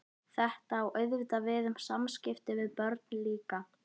Svo, óhagganlega, óbifanlega, óumflýjanlega kemur dagurinn.